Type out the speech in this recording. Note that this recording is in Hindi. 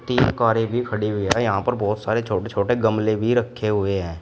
तीन कारें भी खड़ी हुई हैं यहां पर बहोत सारे छोटे छोटे गमले भी रखे हुए हैं।